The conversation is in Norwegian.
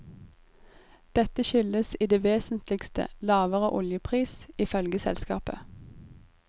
Dette skyldes i det vesentligste lavere oljepris, ifølge selskapet.